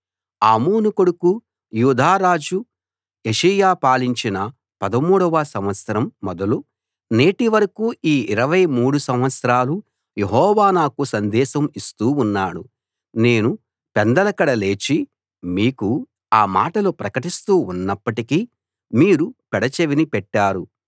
ఆమోను కొడుకు యూదా రాజు యోషీయా పాలించిన 13 వ సంవత్సరం మొదలు నేటివరకూ ఈ 23 సంవత్సరాలు యెహోవా నాకు సందేశం ఇస్తూ ఉన్నాడు నేను పెందలకడ లేచి మీకు ఆ మాటలు ప్రకటిస్తూ ఉన్నప్పటికీ మీరు పెడచెవిన పెట్టారు